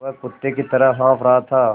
वह कुत्ते की तरह हाँफ़ रहा था